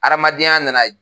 Hadamadenya na na ye